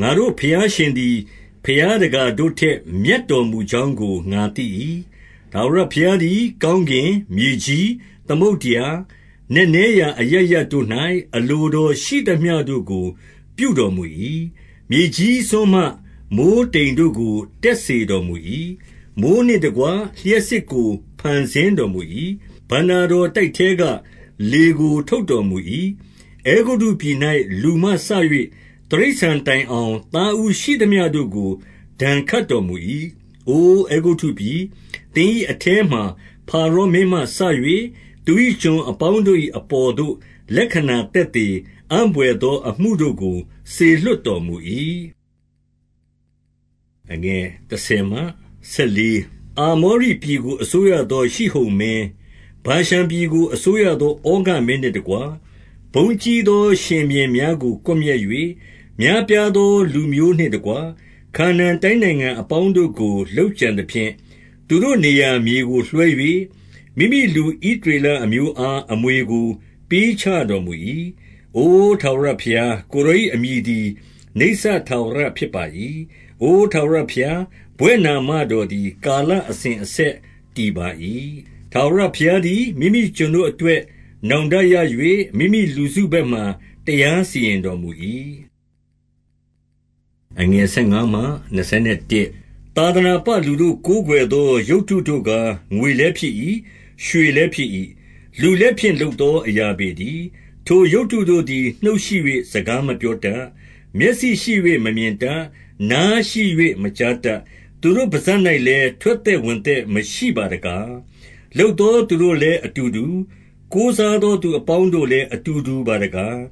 ၊ ငါတို့ ၏ဘုရားရှင်သည် ဘုရားတကာတို့ထက် မြတ်တော် မူကြောင်းကို ငါသိ၏။ 6 ထာဝရဘုရားသည် ကောင်းကင်၊ မြေကြီး၊ သမုဒ္ဒရာ၊ နက်နဲရာအရပ်ရပ်တို့၌ အလိုတော်ရှိသမျှတို့ကို ပြုတော်မူ၏။ 7 မြေကြီးစွန်းမှ မိုဃ်းတိမ်တို့ကို တက်စေတော် မူ၏။ မိုဃ်းနှင့်တကွ လျှပ်စစ်ကို ဖန်ဆင်းတော်မူ၏။ ဘဏ္ဍာတော်တိုက်ထဲက လေကို ထုတ်တော်မူ၏။ 8 အဲဂုတ္တုပြည်၌ လူမှစ၍ တိရစ္ဆာန်တိုင်အောင် သားဦးရှိသမျှတို့ကို ဒဏ်ခတ်တော်မူ၏။ 9 အို အဲဂုတ္တုပြည်၊ သင်၏အထဲမှာ ဖာရောမင်းမှ စ၍၊ သူ၏ကျွန်အပေါင်းတို့၏အပေါ်သို့ လက္ခဏာ သက်သေ၊ အံ့ဘွယ်သောအမှုတို့ကို စေလွှတ်တော်မူ၏။ 10 အာမောရိပြည်ကို အစိုးရသော ရှိဟုန်မင်း၊ 11 ဗာရှန်ပြည်ကို အစိုးရ သောဩဃမင်းနှင့်တကွ၊ ဘုန်းကြီးသော ရှင်ဘုရင်များကို ကွပ်မျက်၍၊ များပြား သော လူမျိုးနှင့်တကွ၊ ခါနာန်တိုင်းနိုင်ငံအပေါင်းတို့ကို လုပ်ကြံသဖြင့်၊ 12 သူတို့နေရာ မြေကိုလွှဲ၍၊ မိမိလူ ဣသရေလ အမျိုးအား အမွေကို ပေးချေတော်မူ၏။ 13 အိုထာဝရဘုရား၊ ကိုယ်တော်၏ အမည်သည် နိစ္စထာဝရဖြစ်ပါ၏။ အိုထာဝရဘုရား၊ ဘွဲ့နာမတော် သည် ကာလအစဉ်အဆက် တည်ပါ၏။ 14 ထာဝရဘုရားသည် မိမိကျွန်တို့၏ အတွက် နောင်တရ၍၊ မိမိလူစုဘက်မှ တရားစီရင်တော်မူ၏။ 15 သာသနာပလူတို့ ကိုးကွယ်သော ရုပ်တုတို့ကား ငွေလည်းဖြစ်၏။ ရွှေလည်းဖြစ်၏။ လူလက်ဖြင့် လုပ် သော အရာပေတည်း။ 16 ထိုရုပ်တုတို့သည် နှုတ်ရှိ၍ စကားမပြောတတ်။ မျက်စိရှိ၍ မမြင်တတ်။ 17 နားရှိ၍ မကြားတတ်။ သူတို့ပစပ်၌လည်း ထွက်သက်ဝင်သက် မရှိပါတကား။ 18 လုပ်သော သူတို့လည်း အတူတူ၊ ကိုးစားသော သူအပေါင်းတို့လည်း အတူတူပါတကား။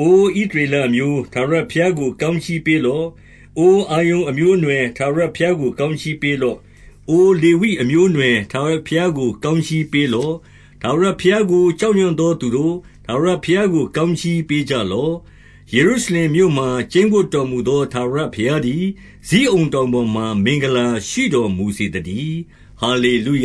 19 အိုဣသရေလ အမျိုး၊ ထာဝရဘုရားကို ကောင်းကြီးပေးလော့။ အိုအာရုန် အမျိုးအနွယ်၊ ထာဝရဘုရားကို ကောင်းကြီးပေးလော့။ 20 အိုလေဝိအမျိုးအနွယ်၊ ထာဝရဘုရားကို ကောင်း ကြီးပေးလော့။ ထာဝရဘုရားကို ကြောက်ရွံ့သောသူတို့၊ ထာဝရဘုရားကို ကောင်းကြီး ပေးကြလော့။ 21 ယေရုရှလင်မြို့မှာ ကျိန်းဝပ်တော်မူသော ထာဝရဘုရားသည် ဇိအုန်တောင်ပေါ်မှာ မင်္ဂလာရှိတော် မူစေသတည်း။ ဟာလေလုယ